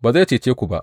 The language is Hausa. Ba zai cece ku ba!